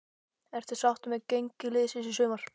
Ertu sáttur með gengi liðsins í sumar?